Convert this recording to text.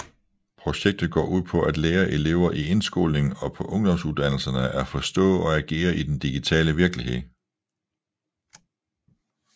Projektet går ud på at lære elever i udskolingen og på ungdomsuddannelserne at forstå og agere i den digitale virkelighed